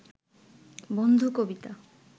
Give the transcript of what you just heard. বন্ধু কবিতা